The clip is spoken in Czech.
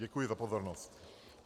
Děkuji za pozornost.